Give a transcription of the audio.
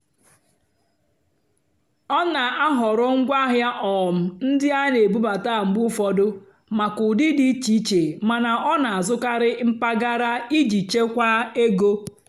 ọ́ nà-àhọ̀rọ́ ngwáàhịá um ndí á nà-èbúbátá mgbe ụ́fọ̀dụ́ màkà ụ́dị́ dì íché íché màná ọ́ nà-àzụ́karị́ mpàgàrà ìjì chèkwáà égó.